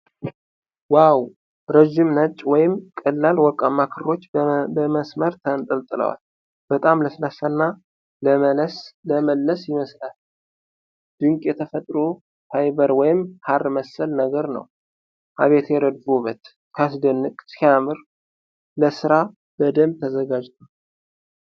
ዋው! ረዥም ነጭ ወይም ቀላል ወርቃማ ክሮች በመስመር ተንጠልጥለዋል። በጣም ለስላሳ እና ለመለስ ይመስላል። ድንቅ የተፈጥሮ ፋይበር ወይም ሐር መሰል ነገር ነው። አቤት የረድፉ ውበት! ሲያስደንቅ! ሲያምር! ለስራ በደንብ ተዘጋጅቷል።